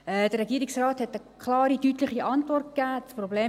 Der Regierungsrat hat eine klare, deutliche Antwort gegeben.